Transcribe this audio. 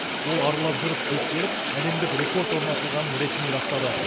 ол аралап жүріп тексеріп әлемдік рекорд орнатылғанын ресми растады